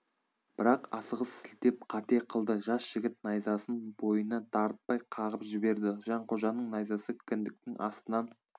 бірақ асығыс сілтеп қате қылды жас жігіт найзасын бойына дарытпай қағып жіберді жанқожаның найзасы кіндіктің астынан